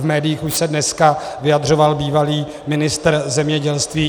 V médiích už se dneska vyjadřoval bývalý ministr zemědělství.